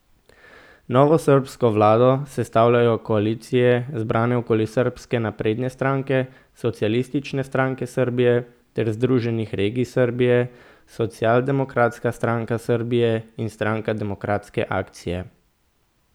Novo srbsko vlado sestavljajo koalicije, zbrane okoli Srbske napredne stranke, Socialistične stranke Srbije ter Združenih regij Srbije, Socialdemokratska stranka Srbije in Stranka demokratske akcije.